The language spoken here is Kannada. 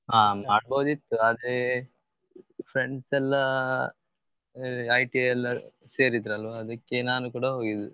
ಹಾ ಮಾಡ್ಬಹುದ್ ಇತ್ತು ಆದ್ರೆ friends ಎಲ್ಲ ITI ಎಲ್ಲ ಸೇರಿದ್ರಲ್ವ ಅದ್ಕೆ ನಾನು ಕೂಡ ಹೋಗಿದ್ದು.